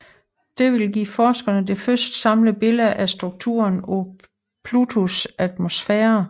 Dette vil give forskerne det første samlede billede af strukturen af Plutos atmosfære